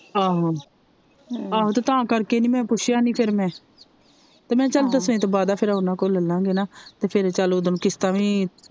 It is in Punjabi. ਆਹੋ ਆਹੋ ਤੇ ਤਾ ਕਰਕੇ ਨਹੀਂ ਮੈ ਪੁੱਛਿਆ ਨਹੀਂ ਫਿਰ ਮੈ ਤੇ ਚਲ ਮੈ ਕਿਹਾ ਦਸਵੇਂ ਤੋਂ ਬਾਅਦਾ ਫਿਰ ਓਹਨਾ ਕੋ ਲੈਲਾਗੇ ਨਾ ਤੇ ਫਿਰ ਓਦੋ ਨੂੰ ਕਿਸਤਾ ਵੀ